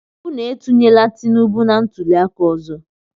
Unu etunyena Tinibu na ntuli aka ọzọ!